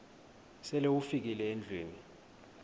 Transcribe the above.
sele ufikile endlwini